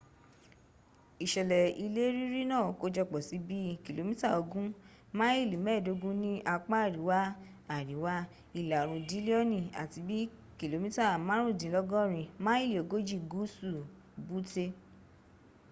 isele ile riri naa kojopo si bii km ogun maili meedogun ni apa ariwa-ariwa ila oorun dilioni ati bi km marundinlogorin maili ogoji guusu butte